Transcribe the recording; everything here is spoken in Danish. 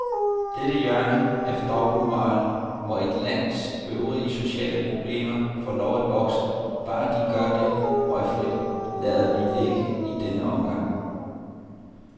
Dette hjørne af dobbeltmoral, hvor et lands øvrige sociale problemer får lov at vokse, bare de gør det røgfrit, lader vi ligge i denne omgang.